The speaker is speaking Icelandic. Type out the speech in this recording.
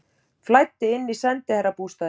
Flæddi inn í sendiherrabústaðinn